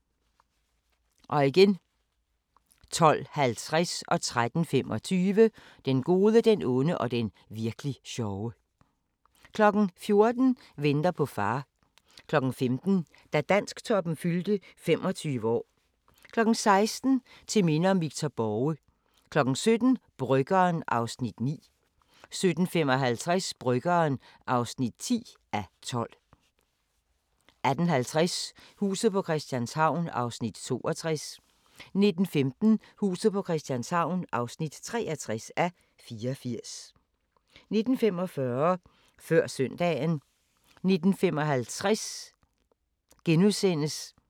12:50: Den gode, den onde og den virk'li sjove 13:25: Den gode, den onde og den virk'li sjove 14:00: Venter på far 15:00: Da Dansktoppen fyldte 25 år 16:00: Til minde om Victor Borge 17:00: Bryggeren (9:12) 17:55: Bryggeren (10:12) 18:50: Huset på Christianshavn (62:84) 19:15: Huset på Christianshavn (63:84) 19:45: Før søndagen